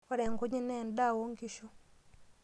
Ore nkujit naa endaa oonkishu.